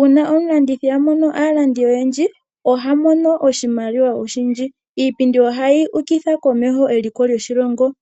Uuna omulandithi a mono aalandi oyendji oha monomo oshimaliwa oshindji. Iipindi ohayi ukitha komeho eliko loshilongo.